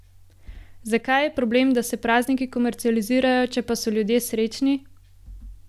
Zakaj je problem, da se prazniki komercializirajo, če pa so ljudje srečni?